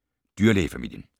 Dyrlægefamilien